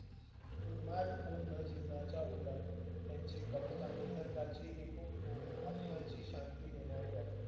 उन्मादपूर्ण जीवनाच्या उलट त्यांची कविता निसर्गाची एक हुबहू आत्म्याची शांती देणारी वाटली.